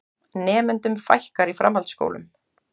Nemendum fækkar í framhaldsskólum